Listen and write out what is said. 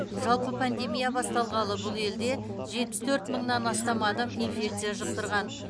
жалпы пандемия басталғалы бұл елде жетпіс төрт мыңнан астам адам инфекция жұқтырған